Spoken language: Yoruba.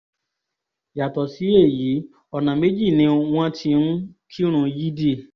yàtọ̀ sí èyí ọ̀nà méjì ni wọ́n ti ń kírun yídì